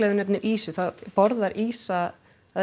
þú nefnir ýsu þá borðar ýsa